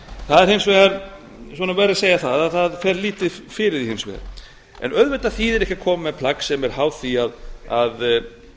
það verður hins vegar að segja að það fer lítið fyrir því en auðvitað þýðir ekki að koma með plagg sem er háð því að